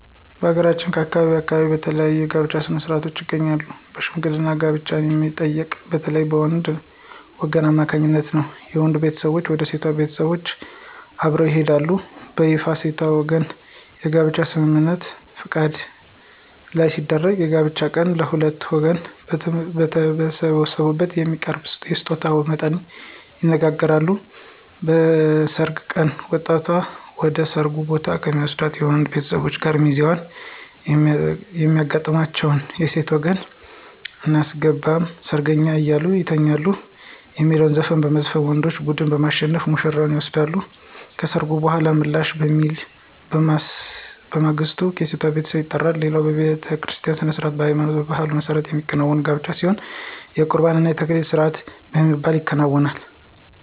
በሀገራችን ከአካባቢ አካባቢ ብዙ የተለያዩ የጋብቻ ሥነ-ሥርዓቶች ይገኛሉ በሽምግልና ጋብቻን የሚጠይቀው በተለይም በወንዶች ወገን አማካኝነት ነው። የወንዱ ቤተሰቦች ወደ ሴቷ ቤተሰቦች አብረው ይሄዳሉ። በይፋ የሴቷ ወገኖች የጋብቻ ስምምነት(ፈቃድ) ላይ ሲደርሱ በጋብቻው ቀን የሁለቱም ወገኖች በተሰበሰቡበት የሚያቀርበውን የስጦታ መጠን ይነጋገራሉ። በሰርግ ቀን ወጣቷን ወደ ሰርጉ ቦታ ከሚወስዱት የወንዶች ቤተሰቦች እና ሚዜዎች የሚያጋጥማቸው የሴት ወገን *አናስገባም ሰርገኛ እዛው ይተኛ* የሚል ዘፈን በመዝፈን ወንዶች ቡድን በማሸነፍ ውሽራዋን ይወስዳሉ። ከሰርጉ በኃላ ምላሽ በሚል በማግስቱ የሴቷ ቤተሰብ ይጠራሉ። ሌላው በቤተክርስቲያ ሥነ-ሥርዓት በሃይማኖትና በባህሉ መሠረት የሚከናወን ጋብቻ ሲሆን የቁርባን እና የተክሊል ስርአት በሚባል ይከናወናል።